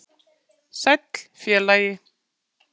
Sæll, félagi